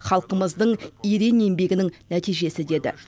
халқымыздың ерең еңбегінің нәтижесі деді